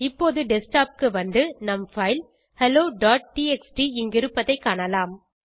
இப்போது டெஸ்க்டாப் க்கு வந்து நம் பைல் helloடிஎக்ஸ்டி இங்கிருப்பதைக் காணலாம்